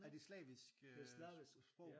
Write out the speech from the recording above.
Er det slavisk øh sprog?